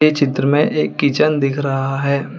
ये चित्र में एक किचन दिख रहा है।